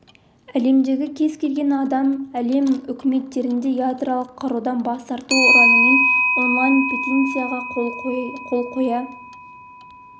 әлемдегі кез келген адам әлем үкіметтеріне ядролық қарудан бас тарту ұранымен онлайн петицияға қол қоя